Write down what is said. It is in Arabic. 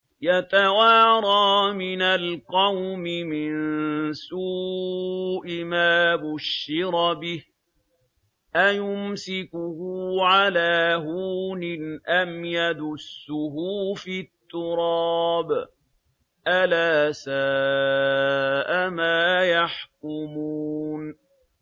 يَتَوَارَىٰ مِنَ الْقَوْمِ مِن سُوءِ مَا بُشِّرَ بِهِ ۚ أَيُمْسِكُهُ عَلَىٰ هُونٍ أَمْ يَدُسُّهُ فِي التُّرَابِ ۗ أَلَا سَاءَ مَا يَحْكُمُونَ